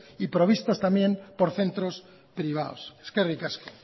y provistas también por centros privados eskerrik asko